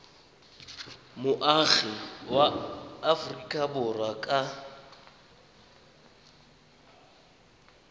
moagi wa aforika borwa ka